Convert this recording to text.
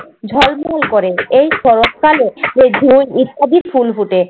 ঝলমল করে। এই শরৎকালে অধিক ফুল ফুটে।